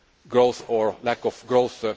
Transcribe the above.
growth or lack of growth.